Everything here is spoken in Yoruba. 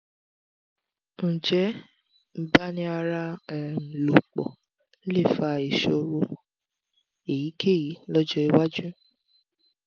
ǹjẹ́ nbani ara um lopo le fa ìṣòro èyíkéyìí lọ́jọ́ iwájú?